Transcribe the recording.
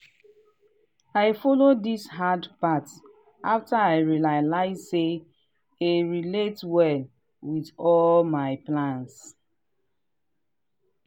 i follow this hard path after i realize say e relate well with all my plans.